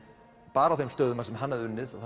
bara á þeim stöðum þar sem hann hafði unnið og